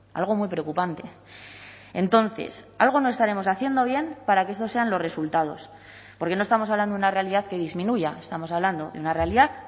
algo muy preocupante entonces algo no estaremos haciendo bien para que estos sean los resultados porque no estamos hablando de una realidad que disminuya estamos hablando de una realidad